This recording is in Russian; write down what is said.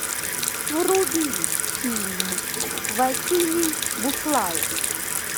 вруби фильм василий буслаев